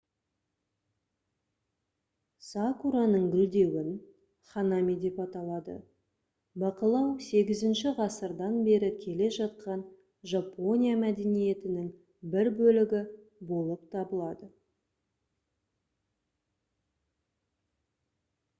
сакураның гүлдеуін ханами деп аталады бақылау 8-ғасырдан бері келе жатқан жапония мәдениетінің бір бөлігі болып табылады